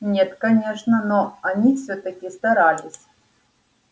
нет конечно но они всё-таки старались